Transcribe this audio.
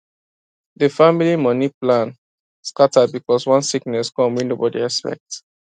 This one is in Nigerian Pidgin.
the family money plan scatter because one sickness come wey nobody expect